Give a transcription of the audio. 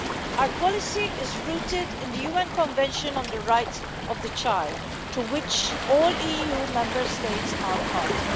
Our policy is rooted in the UN Convention on the Rights of the Child, to which all EU Member States are party.